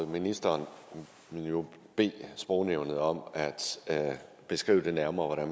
ministeren ville jo bede sprognævnet om at beskrive det nærmere